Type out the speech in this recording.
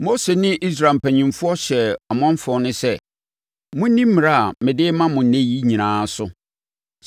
Mose ne Israel mpanimfoɔ hyɛɛ ɔmanfoɔ no sɛ, “Monni mmara a mede rema mo ɛnnɛ yi nyinaa so.